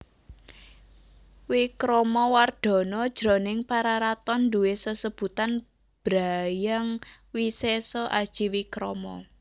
Wikramawardhana jroning Pararaton duwé sesebutan Bhra Hyang Wisesa Aji Wikrama